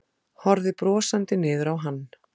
Horfði brosandi niður á hann.